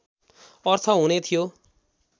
अर्थ हुने थियो